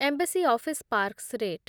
embassy office parks rate